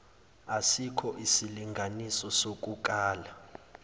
asikho isilinganiso sokukala